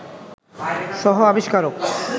সহ-আবিষ্কারক